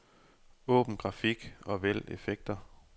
Åbn grafik og vælg effekter.